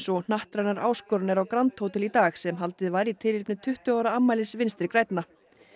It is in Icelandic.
og hnattrænar áskoranir á grand hótel í dag sem haldið var í tilefni tuttugu ára afmælis Vinstri grænna